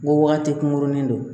Ko wagati kunkurunin don